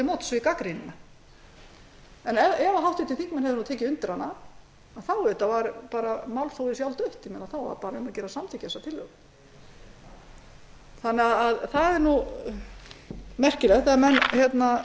móts við gagnrýnina og ef háttvirtir þingmenn hefðu tekið undir hana hefði málþófið auðvitað verið sjálfdautt þá hefði bara verið um að gera að samþykkja tillöguna það er merkilegt ef háttvirtir